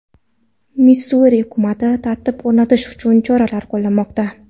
Missuri hukumati tartib o‘rnatish uchun choralar qo‘llamoqda.